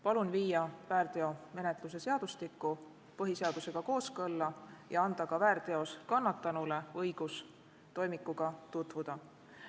Palun viia väärteomenetluse seadustik põhiseadusega kooskõlla ja anda ka väärteos kannatanule õigus toimikuga tutvuda.